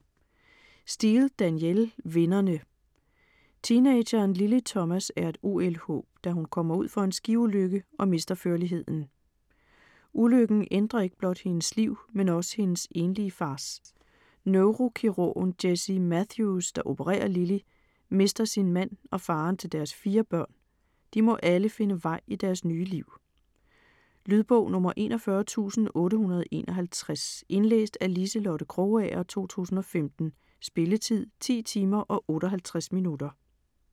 Steel, Danielle: Vinderne Teenageren Lily Thomas er et OL-håb, da hun kommer ud for en skiulykke og mister førligheden. Ulykken ændrer ikke blot hendes liv, men også hendes enlige fars. Neurokirurgen, Jessie Matthews, der opererer Lily, mister sin mand og faderen til deres fire børn. De må alle finde vej i deres nye liv. Lydbog 41851 Indlæst af Liselotte Krogager, 2015. Spilletid: 10 timer, 58 minutter.